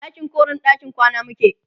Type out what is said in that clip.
ɗakin koren ɗakin kwana muke